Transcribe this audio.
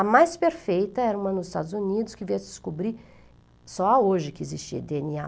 A mais perfeita era uma nos Estados Unidos, que veio a se descobrir só hoje que existia dê ene á.